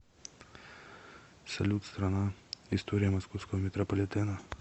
салют страна история московского метрополитена